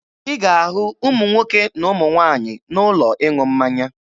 Ị ga-ahụ ụmụ nwoke na ụmụ nwaanyị n'ụlọ ịṅụ mmanya.